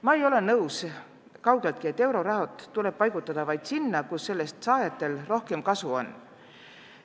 Ma ei ole kaugeltki nõus, et euroraha tuleb paigutada vaid sinna, kus sellest saajatel rohkem kasu on.